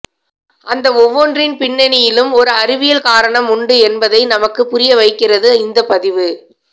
அந்த ஒவ்வொன்றின் பின்னணியிலும் ஒரு அறிவியல் காரணம் உண்டு என்பதை நமக்கு புரிய வைக்கிறது இந்த பதிவு